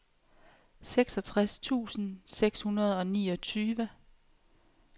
seksogtres tusind seks hundrede og niogtyve